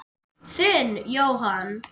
Þinn, Jóhann.